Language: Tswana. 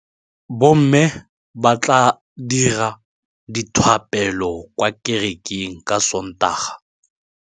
Bommê ba tla dira dithapêlô kwa kerekeng ka Sontaga.